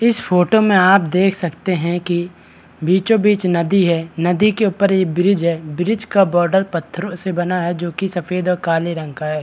इस फोटो में आप देख सकते है कि बिचो-बीच नदी है नदी के ऊपर ये ब्रिज है ब्रिज का बॉर्डर पत्थरों से बना है जो कि सफ़ेद और काले रंग का है ।